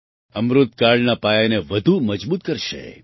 અમૃતકાળના પાયાને વધુ મજબૂત કરશે